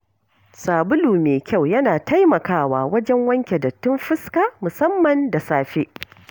Sabulu mai kyau yana taimakawa wajen wanke dattin fuska musamman da safe.